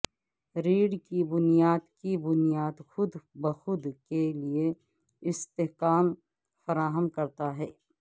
ریڑھ کی بنیاد کی بنیاد خود بخود کے لئے استحکام فراہم کرتا ہے